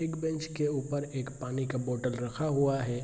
एक बेंच के ऊपर एक पानी का बोतल रखा हुआ है।